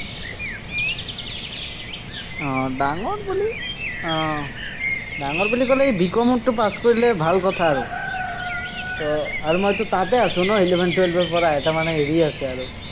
উম ডাঙৰ বুলি আহ ডাঙৰ বুলি কলে, B. Com তো পাছ কৰিলে ভাল কথা আৰু। আৰু মইতো তাতে আছো ন, eleven-twelve ৰপৰা, এটা মানে হেৰি আছে আৰু